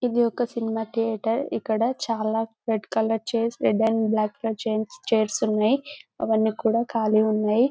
ఇది ఒక cinema theatre ఇక్కడ చాలా red colour chairs red and black colour chairs ఉన్నాయి అవన్నీ కూడా ఖాళీ ఉన్నాయి --